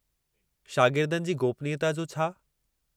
शागिर्दनि जी गोपनीयता जो छा?